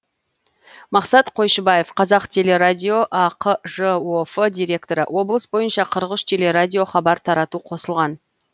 мақсат қойшыбаев қазтелерадио ақ жоф директоры облыс бойынша қырық үш телерадио хабар тарату қосылған